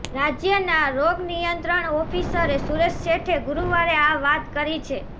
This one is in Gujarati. રાજ્યના રોગનિયંત્રણ ઓફિસર સુરેશ સેઠે ગુરુવારે આ વાત કરી છે